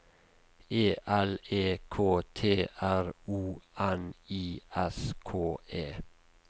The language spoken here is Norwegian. E L E K T R O N I S K E